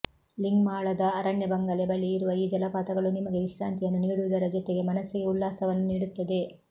ಲಿಂಗ್ಮಾಳದ ಅರಣ್ಯ ಬಂಗಲೆ ಬಳಿ ಇರುವ ಈ ಜಲಪಾತಗಳು ನಿಮಗೆ ವಿಶ್ರಾಂತಿಯನ್ನು ನೀಡುವುದರ ಜೊತೆಗೆ ಮನಸ್ಸಿಗೆ ಉಲ್ಲಾಸವನ್ನು ನೀಡುತ್ತದೆ